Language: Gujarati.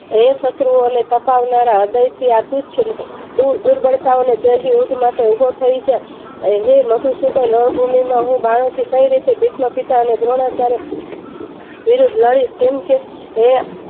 હે શત્રુઓને તપાવનારા હૃદયથી આ તુચ્છ દુર્બલ્તાઓને તેલ થી વધુ ઉભો થઈ જ હે મધુસુદન રણભૂમિમાં હું બનાવથી તકાઈ રીતે ભીષ્મપિતા અને દ્રોણાચાર્ય વિરુદ્ધ લડીશ કેમ કે હે